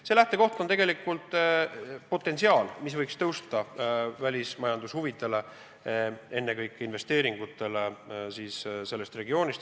Otsuse lähtekoht on tegelikult potentsiaal, mis võiks teenida meie välismajanduse huve – ennekõike pean ma silmas investeeringuid sellest regioonist.